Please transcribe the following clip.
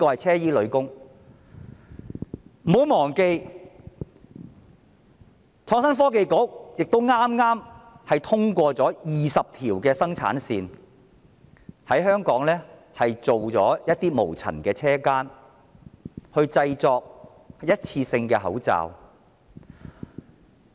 此外，不要忘記，創科局剛批出20條生產線，在香港設立一些無塵車間生產一次性口罩。